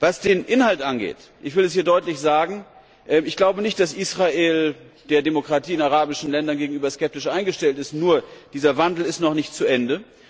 Was den Inhalt angeht ich will es hier deutlich sagen Ich glaube nicht, dass Israel der Demokratie in den arabischen Ländern gegenüber skeptisch eingestellt ist. Nur, dieser Wandel ist noch nicht zu Ende.